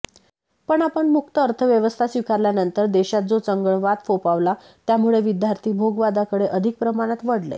पण आपण मुक्त अर्थव्यवस्था स्वीकारल्यानंतर देशात जो चंगळवाद फोफावला त्यामुळे विद्यार्थी भोगवादाकडे अधिक प्रमाणात वळले